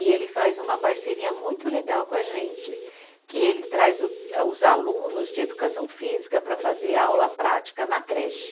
E ele faz uma parceria muito legal com a gente, que ele traz o ah, os alunos de educação física para fazer aula prática na creche.